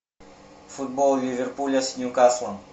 футбол ливерпуля с ньюкаслом